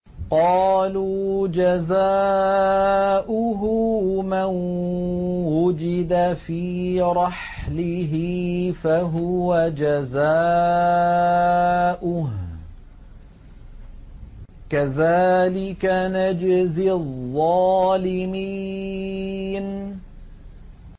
قَالُوا جَزَاؤُهُ مَن وُجِدَ فِي رَحْلِهِ فَهُوَ جَزَاؤُهُ ۚ كَذَٰلِكَ نَجْزِي الظَّالِمِينَ